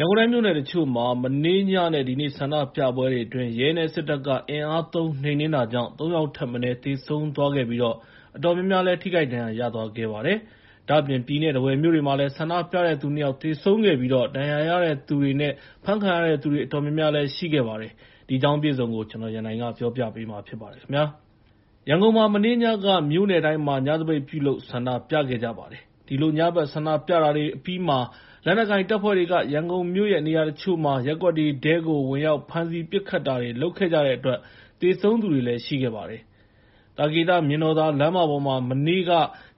ရန်ကုန်တိုင်း မြို့နယ်တချို့မှာ မနေ့ညနဲ့ ဒီနေ့ ဆန္ဒပြပွဲတွေအတွင်း ရဲနဲ့ စစ်တပ်က အင်အားသုံး နှိမ်နင်းတာကြောင့် ၃ ယောက်ထက်မနည်း သေဆုံးသွားခဲ့ပြီး အတော်များများလည်း ဒဏ်ရာရခဲ့ကြပါတယ်။ ဒါ့အပြင် ပြည်နဲ့ ထားဝယ်မြို့တွေမှာလည်း ဆန္ဒပြတဲ့သူ ၂ ယောက် သေဆုံးခဲ့ပြီး ဒဏ်ရာရသူတွေနဲ့ ဖမ်းခံရတဲ့သူတွေလည်း အတော်များများ ရှိခဲ့ပါတယ်။ ဗီအိုအေ သတင်းထောက်တွေ သတင်းပေးပို့ထားတာကို ကိုရန်နိုင် တင်ပြပေးထားပါတယ်။ ရန်ကုန်မှာ မနေ့ညက မြို့နယ်တိုင်းမှာ ညသပိတ်ပြုလုပ် ဆန္ဒပြခဲ့ကြပါတယ်။ ဒီလို ညဘက် ဆန္ဒပြကြတာတွေ အပြီးမှာ လက်နက်ကိုင်တပ်ဖွဲ့တွေက ရန်ကုန်မြို့ရဲ့ နေရာတချို့မှာ ရပ်ကွက်တွေထဲကို ဝင်ရောက်ဖမ်းဆီး ပစ်ခတ်တာတွေ လုပ်ခဲ့ကြတဲ့အတွက် သေဆုံးသူတွေ ရှိခဲ့ကြပါတယ်။ သာကေတ မြင်တော်သာလမ်းမပေါ်မှာ မနေ့က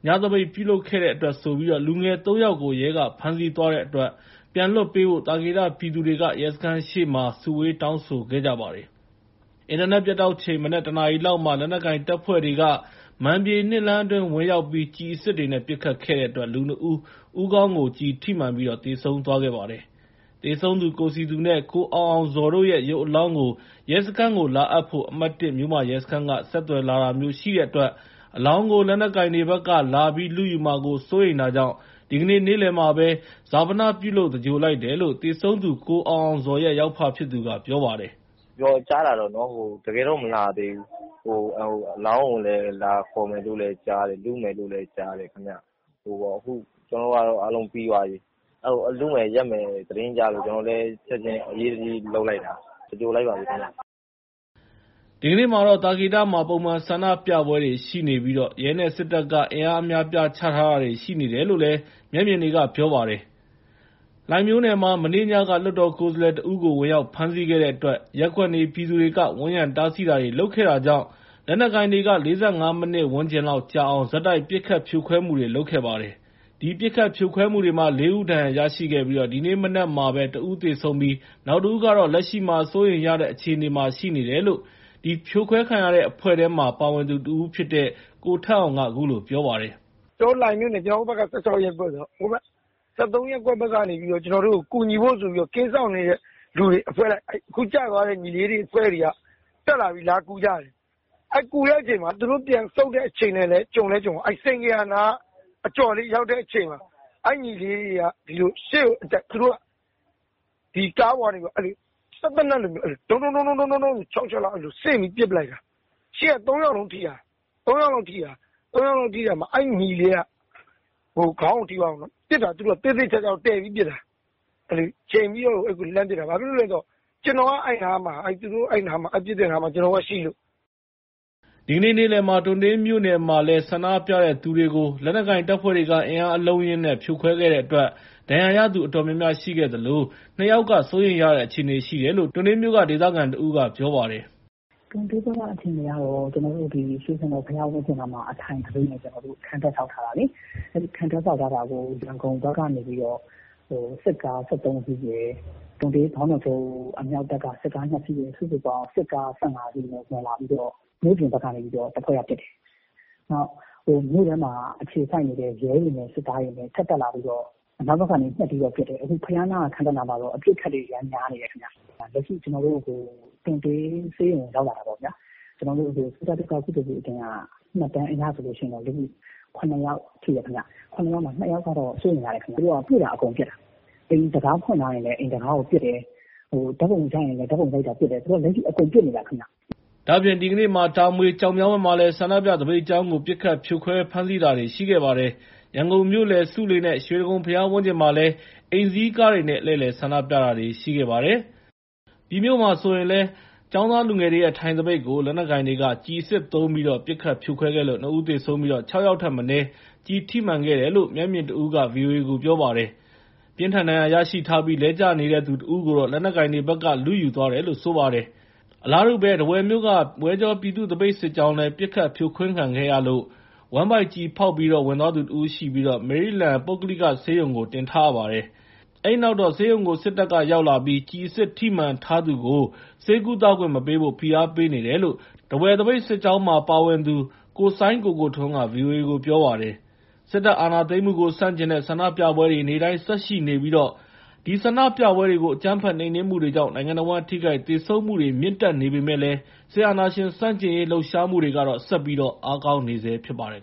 ညပိတ်ပြုလုပ်တဲ့အတွက်ဆိုပြီး လူငယ် ၃ ယောက်ကို ရဲက ဖမ်းဆီးသွားတဲ့အတွက် ပြန်လွှတ်ပေးဖို့ သာကေတ ပြည်သူတွေက ရဲစခန်းရှေ့မှာ စုဝေးတောင်းဆိုခဲ့ကြပါတယ်။ အင်တာနက် ပြတ်တောက်ချိန် မနက် ၁ နာရီလောက်မှာ လက်နက်ကိုင်တပ်ဖွဲ့တွေက မာန်ပြေ ၂ လမ်းအတွင်း ဝင်ရောက်ပြီး ကျည်အစစ်တွေနဲ့ ပစ်ခတ်ခဲ့တဲ့အတွက် လူနှစ်ဦး ဦးခေါင်းကို ကျည်ထိမှန်ပြီး သေဆုံးခဲ့ပါတယ်။ သေဆုံးသူ ကိုစည်သူနဲ့ ကိုအောင်အောင်ဇော်တို့ရဲ့ ရုပ်အလောင်းကို ရဲစခန်းကို လာအပ်ဖို့ အမှတ် ၁ မြို့မရဲစခန်းက ဆက်သွယ်လာတာမျိုး ရှိတဲ့အတွက် အလောင်းကို လက်နက်ကိုင်တွေဘက်က လာပြီးလုယူမှာကို စိုးရိမ်တာကြောင့် ဒီကနေ့ နေ့လယ်မှာပဲ ဈာပနပြုလုပ် သင်္ဂြိုဟ်လိုက်တယ်လို့ သေဆုံးသူ ကိုအောင်အောင်ဇော်ရဲ့ ယောက်ဖက ပြောပါတယ်။ “ကြားတာပေါ့နော်၊ တကယ်တော့ မလာသေးဘူး။ အလောင်းကိုလည်း လာဖော်မယ်လို့လည်း ကြားတယ်။ လုမယ်လို့လည်း ကြားတယ်ခင်ဗျ။ ခု ကျနော်တို့ကတော့ အားလုံးပြီးသွားပြီ။ လုမယ် ယက်မယ် သတင်းကြားလို့ ကျနော်တို့လည်း ချက်ချင်း အရေးတကြီး လုပ်လိုက်တာ။ သင်္ဂြိုဟ်လိုက်ပါပြီခင်ဗျ။” ဒီကနေ့မှာတော့ သာကေတမှာ ပုံမှန်ဆန္ဒပြမှုတွေရှိနေပြီး ရဲနဲ့ စစ်တပ်က အင်အားအများအပြား ချထားတာတွေ ရှိနေတယ်လို့ မျက်မြင်တွေက ပြောပါတယ်။ လှိုင်မြို့နယ်မှာ မနေ့ညက လွှတ်တော်ကိုယ်စားလှယ်တဦးကို ဝင်ရောက်ဖမ်းဆီးတဲ့အတွက် ရပ်ကွက်နေပြည်သူတွေက ဝန်းရံတားဆီးတာတွေ လုပ်ခဲ့ကြတာကြောင့် လက်နက်ကိုင်တွေက ၄၅ မိနစ်ဝန်းကျင်လောက် ကြာအောင် ဆက်တိုက် ပစ်ခတ်ဖြိုခွဲမှုတွေ လုပ်ခဲ့ပါတယ်။ အဲ့ဒီပစ်ခတ်ဖြိုခွဲမှုမှာ ၄ ဦး ဒဏ်ရာရပြီး ဒီနေ့မနက်မှာ တဦးသေဆုံးပြီး နောက်တဦးကတော့ လက်ရှိမှာ စိုးရိမ်ရအခြေအနေနဲ့ ရှိနေတယ်လို့ အဲ့ဒီ ဖြိုခွဲခံရတဲ့ အဖွဲ့ထဲမှာ ပါဝင်ခဲ့သူတဦးဖြစ်တဲ့ ကိုထက်အောင်က ခုလိုပြောပြပါတယ်။ “ကျနော်တို့ လှိုင်မြို့နယ် ကျနော်တို့က ၁၆ ရပ်ကွက်ဆိုတော့ ဟိုဘက် ၁၃ ရပ်ကွက်ဘက်ကနေ ကျနော်တို့ကို ကူညီဖို့ဆိုပြီးတော့ ကင်းစောင့်နေတဲ့လူတွေ အဖွဲ့လိုက် ခု ကင်းစောင်နေတဲ့ ညီလေးတွေ အဖွဲ့က လာကူကြတာ။ လာကူတဲ့အချိန်မှာ သူတို့ ပြန်ဆုတ်တဲ့အချိန်နဲ့လည်း ကြုံရော စိန်ဂေဟာနား အကျော်လေးရောက်တဲ့ အချိန်မှာ အဲ့ညီလေးတွေက ရှေ့ကိုအတက် သူတို့က ကားပေါ်ကနေပြီးတော့ စက်သေနတ်လိုဟာနဲ့ ဒုန်း ဒုန်း ဒုန်း ဒုန်း ဆိုပြီးတော့ ၆ ချက်လောက်ကို ဆင့်ပြီး ပစ်ပလိုက်တာ။ ရှေ့က ၃ ယောက်လုံးထိတာ။ ၃ ယောက်လုံးထိတာမှာ အဲ့ညီလေးက ခေါင်းကိုထိသွားတာ။ ပစ်တာကို သူတို့က သေသေချာချာကို တည်ပြီးပစ်တာ။ ချိန်ပြီးတော့ကို လှမ်းပစ်တာ။ ဘာဖြစ်လို့လဲဆိုတော့ ကျနော်တို့က အဲ့ပစ်တဲ့နားမှာ ကျနော်တို့က ရှိလို့။” ဒီကနေ့ နေ့လယ်မှာ တွံတေးမြို့နယ်မှာလည်း ဆန္ဒပြသူတွေကို လက်နက်ကိုင်တပ်ဖွဲ့တွေက အင်အားအလုံးအရင်းနဲ့ ဖြိုခွဲတဲ့အတွက် ဒဏ်ရာရသူ အတော်များများ ရှိခဲ့သလို ၂ ယောက်က စိုးရိမ်ရ အခြေအနေ ရှိတယ်လို့ တွံတေးမြို့ ဒေသခံတဦးက ပြောပါတယ်။ “တွံတေးအခြေအနေကတော့ ကျေနာ်တို့ တွံတေး ရွှေစာရံဘုရားဝင်းအတွင်းမှာ အထိုင်သပိတ်အတွက် ခံတပ်ဆောက်ထားတာလေ။ ခံတပ်ဆောက်ထားတာကို ရန်ကုန်ဘက်ကနေပြီးတော့ စစ်ကား ၁၃ စီးနဲ့ တွံတေး ဘောင်းတော်ချုပ် အမြောက်တပ်က စစ်ကား ၂ စီးနဲ့ စုစုပေါင်း စစ်ကား ၁၅ စီးနဲ့ တက်လာပြီးတော့ မြို့ပြင်ဘက်ကနေပြီးတော့ တဖွဲ့က ပစ်တယ်။ နောက် မြို့ထဲမှာ အခြေစိုက်နေတဲ့ ရဲတွေနဲ့ စစ်သားတွေ ထပ်တက်လာပြီးတော့ နောက်ဘက်ကနေ ဆက်ပြီးတော့ ပစ်တယ်။ ခု ခံတပ်နားမှာတော့ အပစ်အခတ်တွေ အရမ်းများနေတယ်ခင်ဗျ။ လက်ရှိ ကျနော်တို့ တွံတေးဆေးရုံကို ရောက်လာတာပေါ့နော်။ ကုသိုလ်ပြုအသင်းက မှတ်တမ်းအရဆိုလို့ရှိရင်တော့ ၇ ယောက် ထိတယ်ခင်ဗျ။ ၇ ယောက်ထဲက ၂ ယောက်ကတော့ စိုးရိမ်ရတယ်ဗျ။ သူတို့က တွေ့တာ အကုန်ပစ်တာဗျ။ အိမ်တံခါးဖွင့်ထားရင်လည်း အိမ်တံခါးကို ပစ်တယ်။ ဓာတ်ပုံရိုက်တာတွေ့ရင်လည်း ပစ်တယ်။ သူတို့က လက်ရှိ အကုန်ပစ်နေတာ ခင်ဗျ။” ဒီကနေ့မှာ တာမွေ ကျောက်မြောင်းဘက်မှာလည်း ဆန္ဒပြ သပိတ်ကြောင်းကို ပစ်ခတ်ဖြိုခွဲ ဖမ်းဆီးတာတွေ ရှိခဲ့ပါတယ်။ ရန်ကုန်မြို့လယ် ဆူးလေနဲ့ ရွှေတိဂုံဘုရားဝန်ကျင်မှာ အိမ်စီးကားတွေနဲ့ လှည့်လည် ဆန္ဒပြခဲ့ကြပါတယ်။ ပြည်မြို့က ကျောင်းသားလူငယ်ရဲ့ ထိုင်သပိတ်ကို လက်နက်ကိုင်တွေဘက်က ကျည်အစစ်သုံး ပစ်ခတ်ဖြိုခွဲလို့ ၂ ဦးသေဆုံး၊ ၆ ယောက်ထက်မနည်း ကျည်ထိမှန်တယ်လို့ မျက်မြင်တဦးက ဗွီအိုအေကို ပြောပါတယ်။ ပြင်းထန်ဒဏ်ရာရရှိထားပြီး လဲကျနေသူတဦးကိုတော့ လက်နက်ကိုင်တွေဘက်က လုယူသွားတယ်လို့ ပြောပါတယ်။ အလားတူ ထားဝယ်မြို့က ဝဲကြော ပြည်သူ့သပိတ်စစ်ကြောင်း ပစ်ခတ်ဖြိုခွဲခံရလို့ ဝမ်းဗိုက် ကျည်ဖောက်ဝင်သွားသူတဦး ရှိပြီး မေရိလန်း ပုဂ္ဂလိကဆေးရုံ တင်ထားပါတယ်။ ဆေးရုံကို စစ်တပ်ရောက်လာပြီး ကျည်အစစ်ထိမှန်ထားသူကို ဆေးကုသခွင့် မပေးဖို့ ဖိအားပေးနေတယ်လို့ ထားဝယ်သပိတ်စစ်ကြောင်းမှာ ပါဝင်ဆန္ဒပြနေသူ ကိုစိုင်းကိုကိုထွန်းက ဗွီအိုအေကို ပြောပါတယ်။ စစ်တပ်အာဏာသိမ်းမှုကို ဆန့်ကျင်တဲ့ ဆန္ဒပြပွဲတွေ နေ့တိုင်း ဆက်ရှိနေပြီး ဒီဆန္ဒပြပွဲတွေကို အကြမ်းဖက်နှိမ်နင်းမှုတွေကြောင့် နိုင်ငံတဝန်း ထိခိုက်သေဆုံးမှုတွေ ဆက်ပြီး မြင့်တက်နေပေမယ့် စစ်အာဏာရှင်ဆန့်ကျင်ရေး လှုပ်ရှားမှုတွေကတော့ ဆက်ပြီးတော့ အားကောင်းနေဆဲ ဖြစ်ပါတယ်